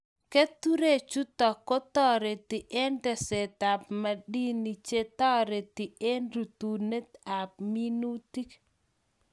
Keturek chutok ko tareti eng' teset ab madini che tareti eng' rutunet ab minutik